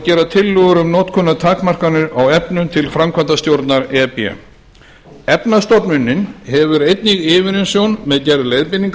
gera tillögur um notkunartakmarkanir á efnum til framkvæmdastjórnar e b efnastofnunin hefur einnig yfirumsjón með gerð leiðbeininga